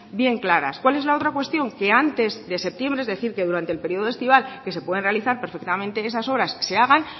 bien claras cuál es la otra cuestión que antes de septiembre es decir que durante el periodo estival que se pueden realizar perfectamente esas obras se hagan